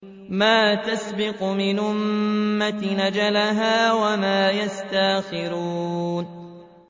مَا تَسْبِقُ مِنْ أُمَّةٍ أَجَلَهَا وَمَا يَسْتَأْخِرُونَ